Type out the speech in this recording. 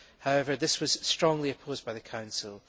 However, this was strongly opposed by the Council.